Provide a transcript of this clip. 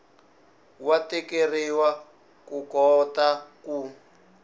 wa tikeriwa ku kota ku